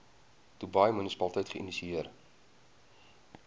dubai munisipaliteit geïnisieer